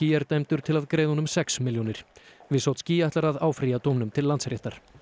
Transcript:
er dæmdur til að greiða honum sex milljónir wisocki ætlar að áfrýja dómnum til Landsréttar